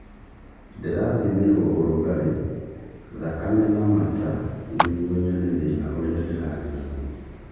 Ndĩrathimirwo ũrugarĩ, thakame na mata nĩguo nyone thĩna ũrĩa ndĩrarĩ naguo